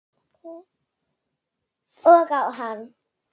Og á hann.